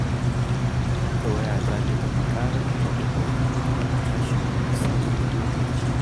Haka waya za ta gama ƙararta ta haƙura, tashi kuma sai wani lokaci.